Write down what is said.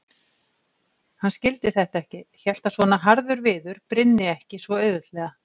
Hann skildi þetta ekki, hélt að svona harður viður brynni ekki svo auðveldlega.